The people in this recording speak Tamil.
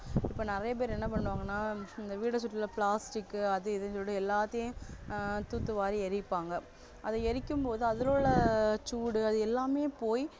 இப்போ நிறையபேர் என்ன பண்ணுவாங்கன்னா இந்த வீட சுற்றியுள்ள plastic அது இதுன்னு சொல்லிட்டு எல்லாத்தையும் ஆஹ் தூத்துவாரி எரிப்பாங்க அதை எரிக்கும் போது அதில உள்ள சூடு அது எல்லாமே போய்